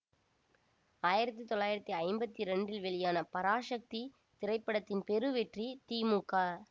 ஆயிரத்தி தொள்ளாயிரத்தி ஐம்பத்தி இரண்டில் வெளியான பராசக்தி திரைப்படத்தின் பெருவெற்றி தி மு க